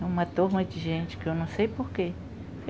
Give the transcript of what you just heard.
É uma turma de gente que eu não sei por quê.